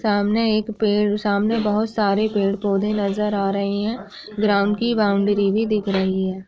सामने एक पेड़ सामने बहोत सरे पेड़ पौध नज़र आ रहे रहे है| ग्राउंड की बाउंड्री भी दिख रही है।